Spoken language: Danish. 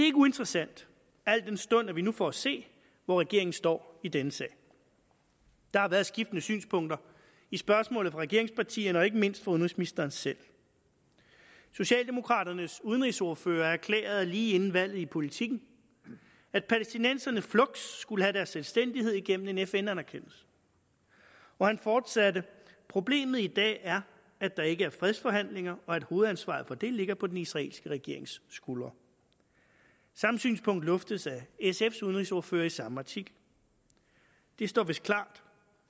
ikke uinteressant al den stund vi nu får at se hvor regeringen står i denne sag der har været skiftende synspunkter i spørgsmålet fra regeringspartierne og ikke mindst fra udenrigsministeren selv socialdemokraternes udenrigsordfører erklærede lige inden valget i politiken at palæstinenserne fluks skulle have deres selvstændighed igennem en fn anerkendelse og han fortsatte problemet i dag er at der ikke er fredsforhandlinger og at hovedansvaret for det ligger på den israelske regerings skuldre samme synspunkt luftes af sfs udenrigsordfører i samme artikel det står vist klart